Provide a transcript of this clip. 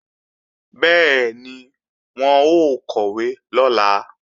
Bẹ́ẹ̀ni, wọn ó kọ̀wé lọ́la